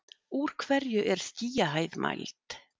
úr hverju er skýjahæð mæld